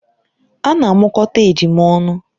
Ana amụkọta ejima ọnụ